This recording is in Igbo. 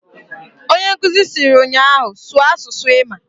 Onyenkuzi siri nnyaahu "Sụọ asụsụ ịmaǃ"